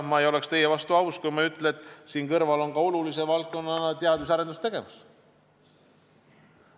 Ma ei oleks teie vastu aus, kui ma ei ütleks, et siin kõrval on olulise valdkonnana ka teadus- ja arendustegevus.